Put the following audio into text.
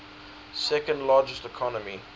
second largest economy